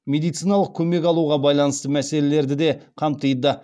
медициналық көмек алуға байланысты мәселелерді де қамтиды